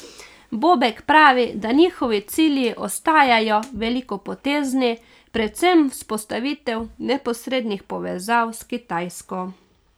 Bobek pravi, da njihovi cilji ostajajo velikopotezni, predvsem vzpostavitev neposrednih povezav s Kitajsko.